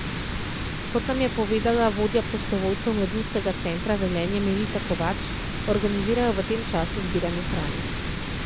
Kot nam je povedala vodja prostovoljcev Mladinskega centra Velenje Melita Kovač, organizirajo v tem času zbiranje hrane.